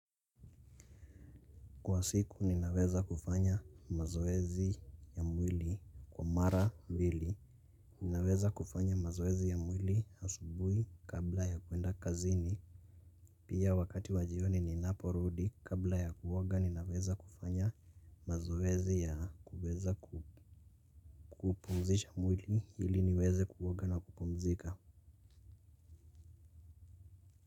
Kwa siku ninaweza kufanya mazoezi ya mwili kwa mara mbili. Ninaweza kufanya mazoezi ya mwili asubuhi kabla ya kuenda kazini. Pia wakati wa jioni ninapo rudi kabla ya kuoga ninaweza kufanya mazoezi ya kuweza kupumzisha mwili ili niweze kuoga na kupumzika.